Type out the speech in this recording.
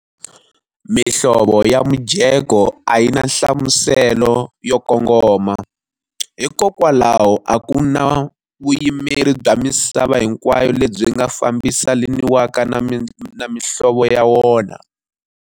Mihlovo ya mujeko a yi na nhlamuselo yo kongoma, hikokwalaho a ku na vuyimeri bya misava hinkwayo lebyi nga fambelanisiwaka na mihlovo ya wona.